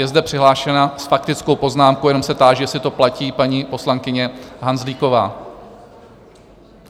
Je zde přihlášena s faktickou poznámku - jenom se táži, jestli to platí - paní poslankyně Hanzlíková.